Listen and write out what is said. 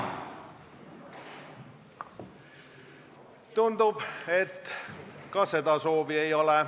Tundub, et ka seda soovi ei ole.